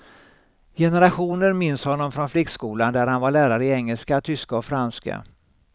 Generationer minns honom från flickskolan där han var lärare i engelska, tyska och franska.